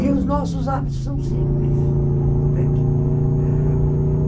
E os nossos hábitos são simples, entende? ãh...